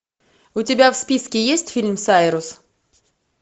у тебя в списке есть фильм сайрус